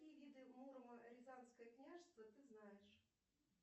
какие виды муромо рязанское княжество ты знаешь